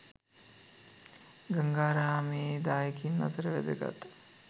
ගංගාරාමේ දායකයින් අතර වැදගත්